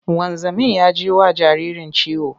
Wanzamin ya ji wa jaririn ciwo.